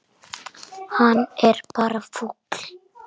Hann er bara fúll.